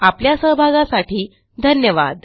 आपल्या सहभागासाठी धन्यवाद